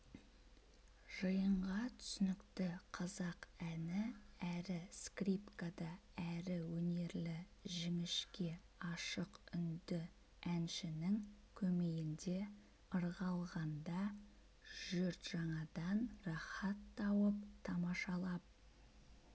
жиынға түсінікті қазақ әні әрі скрипкада әрі өнерлі жіңішке ашық үнді әншінің көмейінде ырғалғанда жұртжаңадан рахат тауып тамашалап